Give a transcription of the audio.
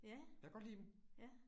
Ja. Ja